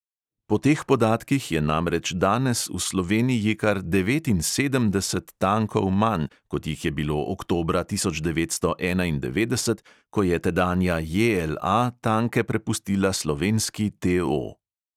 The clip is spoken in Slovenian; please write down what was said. Po teh podatkih je namreč danes v sloveniji kar devetinsedemdeset tankov manj, kot jih je bilo oktobra tisoč devetsto enaindevetdeset, ko je tedanja JLA tanke prepustila slovenski TO.